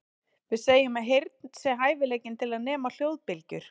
Við segjum að heyrn sé hæfileikinn til að nema hljóðbylgjur.